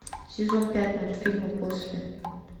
сезон пять мультфильма после